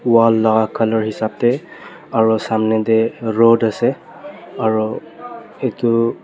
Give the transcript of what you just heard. wall laka colour hisap tae aro samnae tae rod ase aro edu--